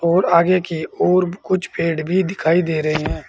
और आगे की ओर कुछ पेड़ भी दिखाई दे रहे हैं।